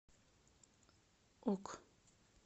ок